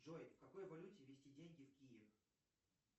джой в какой валюте вести деньги в киев